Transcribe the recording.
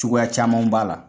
Cogoya camanw b'a la.